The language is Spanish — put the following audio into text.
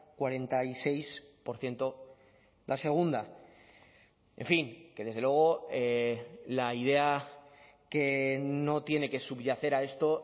cuarenta y seis por ciento la segunda en fin que desde luego la idea que no tiene que subyacer a esto